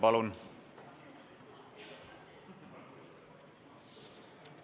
Palun!